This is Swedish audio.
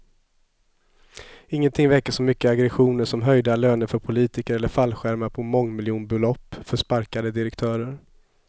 Ingenting väcker så mycket aggressioner som höjda löner för politiker eller fallskärmar på mångmiljonbelopp för sparkade direktörer.